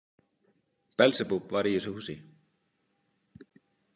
Belsebúbb var í þessu húsi.